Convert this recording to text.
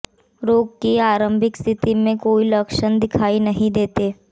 रोग की आरंभिक स्थिति में कोई लक्षण दिखाई नहीं देते